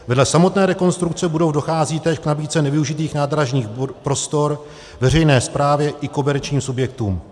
Vedle samotné rekonstrukce budov dochází též k nabídce nevyužitých nádražních prostor, veřejné správy i komerčním subjektům.